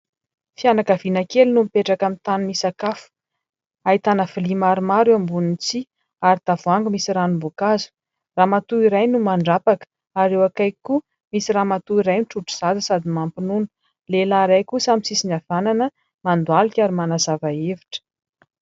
Fianakaviana kely no mipetraka amin'ny tany misakafo. Ahitana vilia maromaro eo ambonin'ny tsihy ary tavoahangy misy ranom-boankazo. Ramatoa iray no mandrapaka ary eo akaiky koa misy ramatoa iray mitrotro zaza sady mampinono. Lehilahy iray kosa amin'ny sisiny havanana mandohalika ary manazava hevitra.